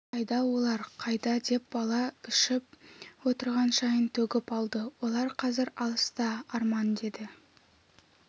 қайда олар қайда деп бала ішіп отырған шайын төгіп алды олар қазір алыста арман деді